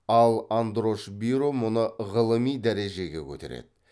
ал андрош биро мұны ғылыми дәрежеге көтереді